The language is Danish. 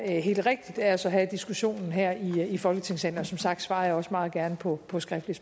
er helt rigtigt af os at have diskussionen her i folketingssalen og som sagt svarer jeg også meget gerne på på skriftlige